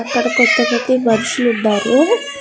అక్కడ కొంతమంది మనుషులు ఉన్నారు.